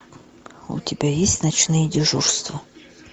у тебя есть ночные дежурства